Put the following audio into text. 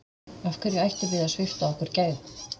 Af hverju ættum við að svipta okkur gæðum?